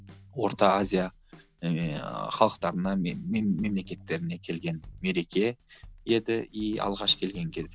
орта азия ыыы халықтарына мемлекеттеріне келген мереке еді и алғаш келген кезі